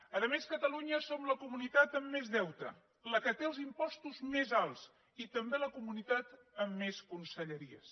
a més catalunya som la comunitat amb més deute la que té els impostos més alts i també la comunitat amb més conselleries